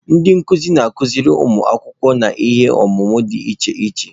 Ndị nkuzi na-akụziri ụmụ akwụkwọ n'ihe ọmụmụ dị iche iche.